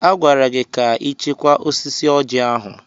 A gwara gị ka ị chekwaa osisi Ọjị ahụ!